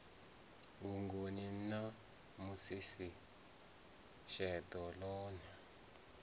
vhugoni na musisi sheḓo ḽone